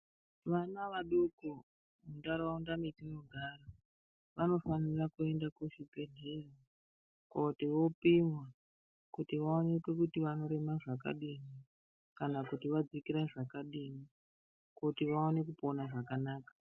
Vana vadoko mundaraunda vatinogara vanofana kuenda kuchibhedhlera koti vapimwe kuti vaoneke kuti vanorema zvakadini kana kuti vadzikira zvakadini kuti vaone kupona zvakanaka.